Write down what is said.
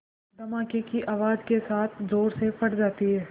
धमाके की आवाज़ के साथ ज़ोर से फट जाती है